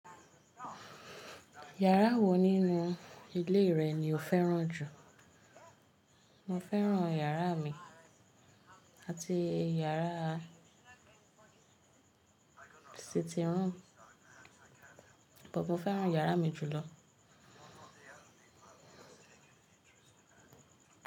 Yàrá wo nínú ilé rẹ ni o féràn jù? Mo féràn yàrá mi àti yàrá sitting room, bọ mo fẹ́ràn yàrá mi jùlọ.